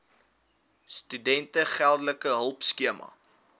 studente geldelike hulpskema